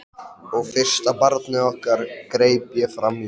Sama hversu mjög þú grenjar á móti því.